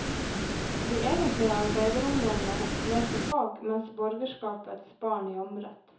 De egentlige arbeiderungdommene leste fag, mens borgerskapets barn jamret.